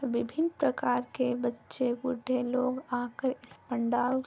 विभीन्न प्रकार के बच्चे बूढ़े लोग आ कर इस पंडाल --